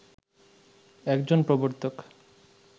একজন প্রবর্তক